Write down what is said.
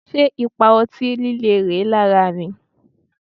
Ṣé ipa ọtí líle rèé lára mi?